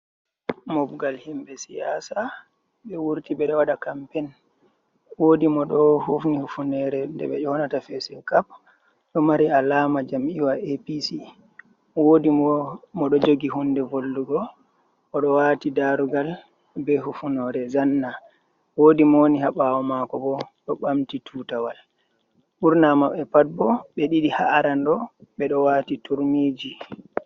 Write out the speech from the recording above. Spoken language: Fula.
Mobgal himbe siyasa. Be wurti be do waɗa kampen. Woɗi mo do hufni hufunere ɗee beƴonata fesinkap. Ɗo mari alama jammiyawa A.P.C woɗi mo ɗoo joogi hunɗe vollugo oɗoo wati darugal be hufunore zanna. Woɗi mo woni ha bawo mako bo oɗo bamti tutawal. Burna mabbe pat bo be ɗiɗi ha’a aranɗe be ɗo wati turmiji.